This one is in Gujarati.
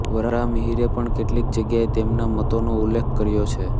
વરાહમિહિરે પણ કેટલીક જગ્યાએ તેમના મતોનો ઉલ્લેખ કર્યો છે